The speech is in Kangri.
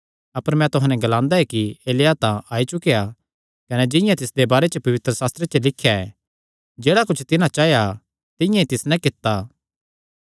अपर मैं तुहां नैं ग्लांदा कि एलिय्याह तां आई चुकेया कने जिंआं तिसदे बारे च पवित्रशास्त्रे च लिख्या ऐ जेह्ड़ा कुच्छ तिन्हां चाया तिंआं ई तिस नैं कित्ता